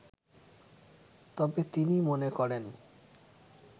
তবে তিনি মনে করেন